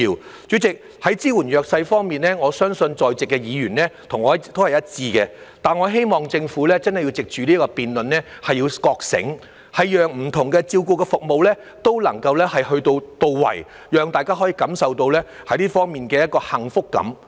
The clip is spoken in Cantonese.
代理主席，在支援弱勢方面，我相信在席議員和我一致，但我希望政府真的要藉此辯論覺醒，讓不同的照顧服務都能到位，讓大家可以感受到這方面的幸福感。